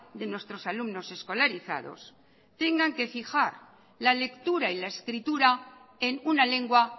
de nuestros alumnos escolarizados tengan que fijar la lectura y la escritura en una lengua